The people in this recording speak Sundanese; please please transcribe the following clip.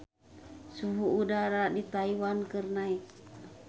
Suhu udara di Taiwan keur naek